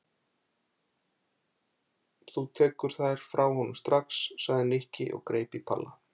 Þú tekur þær frá honum strax sagði Nikki og greip í Palla.